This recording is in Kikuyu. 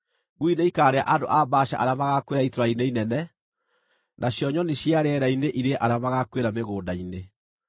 Ngui nĩikarĩa andũ a Baasha arĩa magaakuĩra itũũra-inĩ inene, nacio nyoni cia rĩera-inĩ irĩe arĩa magaakuĩra mĩgũnda-inĩ.”